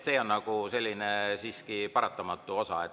See on siiski paratamatu osa.